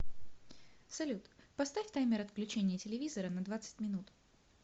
салют поставь таймер отключения телевизора на двадцать минут